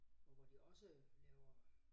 Og hvor de også laver